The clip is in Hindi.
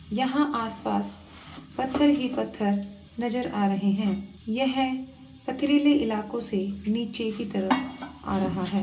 यहां आस-पास पत्थर ही पत्थर नजर आ रहे है। येहे पथरीले इलाकों से नीचे की तरफ आ रहा है।